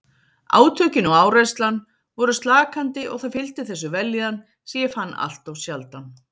Átökin og áreynslan voru slakandi og það fylgdi þessu vellíðan sem ég fann alltof sjaldan.